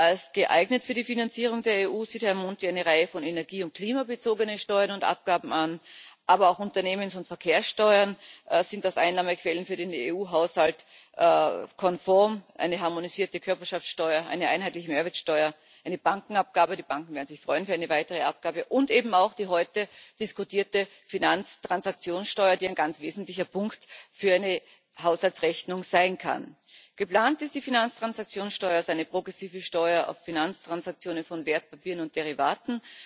Als geeignet für die Finanzierung der EU sieht Herr Monti eine Reihe von energie und klimabezogenen Steuern und Abgaben an, aber auch Unternehmens und Verkehrssteuern sind als Einnahmequellen für den EU Haushalt konform eine harmonisierte Körperschaftsteuer, eine einheitliche Mehrwertsteuer, eine Bankenabgabe die Banken werden sich freuen über eine weitere Abgabe und eben auch die heute diskutierte Finanztransaktionssteuer, die ein ganz wesentlicher Punkt für eine Haushaltsrechnung sein kann. Geplant ist die Finanztransaktionssteuer als eine progressive Steuer auf Finanztransaktionen von Wertpapieren und Derivaten,